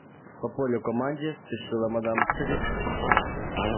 по полю к команде спешила мадам трюк